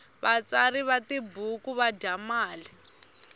vatsari va tibuku va dya mali